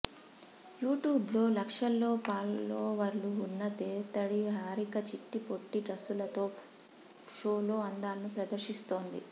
YouTube లో లక్షల్లో ఫాలోవర్లు ఉన్న దేత్తడి హారిక చిట్టిపొట్టి డ్రస్సులతో షోలో అందాలను ప్రదర్శిస్తోంది